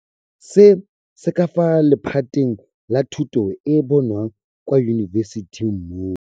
Se se ka fa lephateng la thuto e e bonwang kwa yunibesithing mo.